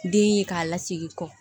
Den ye k'a lasegin kɔ